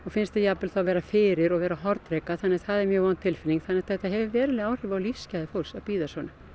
finnst þeir jafnvel vera fyrir og vera hornreka þannig að það er mjög vond tilfinning þannig að þetta hefur veruleg áhrif á lífsgæði fólks að bíða svona